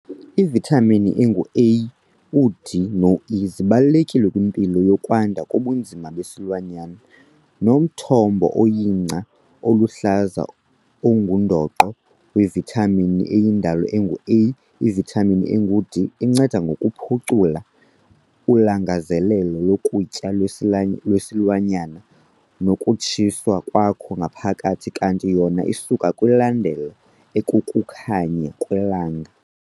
Ivithamini engu-A, u-D no-E zibalulekile kwimpilo yokwanda kobunzima besilwanyana, nomthombo oyingca eluhlaza ongundoqo wevithamini eyindalo engu-A. Ivithamini engu-D inceda ngokuphucula ulangazelelo lokutya lwesi lwesilwanyana nokutshiswa kwakho ngaphakathi kanti yona isuka kwindalo ekukukhanya kwelanga.